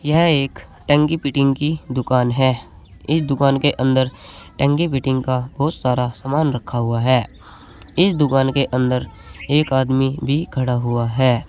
यह एक टंकी फिटिंग की दुकान है इस दुकान के अंदर टंकी फिटिंग का बहुत सारा सामान रखा हुआ है इस दुकान के अंदर एक आदमी भी खड़ा हुआ है।